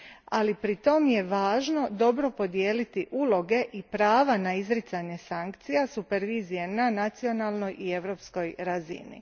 Ali, pritom je važno dobro podijeliti uloge i prava na izricanje sankcija, supervizije na nacionalnoj i europskoj razini.